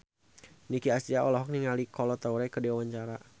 Nicky Astria olohok ningali Kolo Taure keur diwawancara